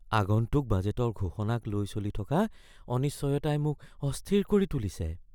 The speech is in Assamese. আগন্তুক বাজেটৰ ঘোষণাক লৈ চলি থকা অনিশ্চয়তাই মোক অস্থিৰ কৰি তুলিছে।